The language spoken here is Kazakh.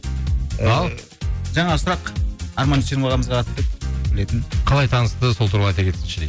ал жаңағы сұрақ арман дүйсенов ағамызға қалай танысты сол туралы айта кетсінші дейді